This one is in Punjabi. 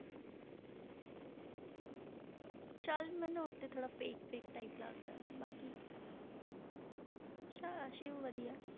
ਸਾਲਿਨ ਭਨੋਟ ਤੇ ਥੋੜ੍ਹਾ fake fake type ਲੱਗਦਾ ਬਾਕੀ ਸ~ ਸਿਵ ਵਧੀਆ